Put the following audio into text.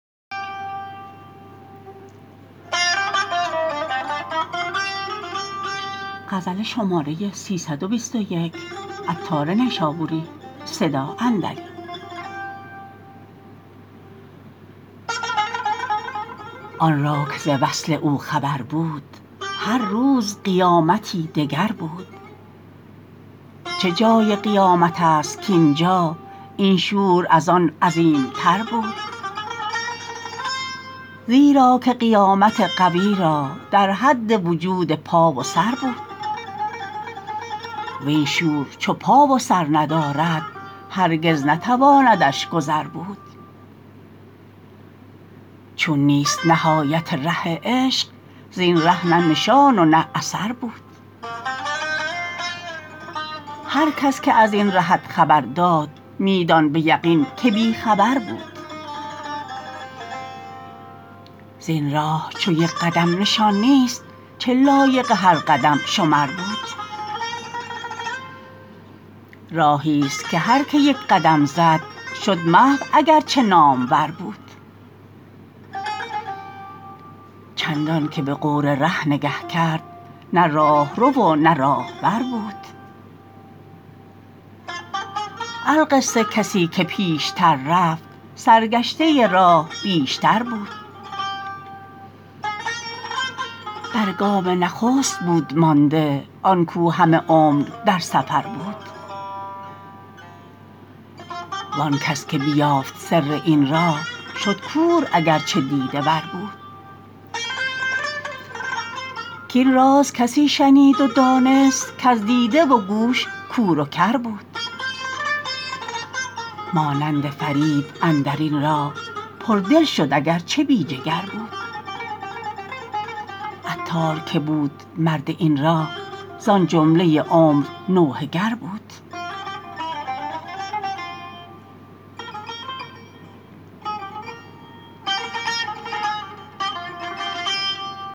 آن را که ز وصل او خبر بود هر روز قیامتی دگر بود چه جای قیامت است کاینجا این شور از آن عظیم تر بود زیرا که قیامت قوی را در حد وجود پا و سر بود وین شور چو پا و سر ندارد هرگز نتواندش گذر بود چون نیست نهایت ره عشق زین ره نه نشان و نه اثر بود هر کس که ازین رهت خبر داد می دان به یقین که بی خبر بود زین راه چو یک قدم نشان نیست چه لایق هر قدم شمر بود راهی است که هر که یک قدم زد شد محو اگر چه نامور بود چندان که به غور ره نگه کرد نه راهرو و نه راهبر بود القصه کسی که پیشتر رفت سرگشته راه بیشتر بود بر گام نخست بود مانده آنکو همه عمر در سفر بود وانکس که بیافت سر این راه شد کور اگرچه دیده ور بود کین راز کسی شنید و دانست کز دیده و گوش کور و کر بود مانند فرید اندرین راه پر دل شد اگرچه بی جگر بود عطار که بود مرد این راه زان جمله عمر نوحه گر بود